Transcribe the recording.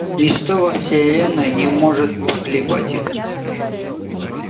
ничто во вселенной не может поколебать их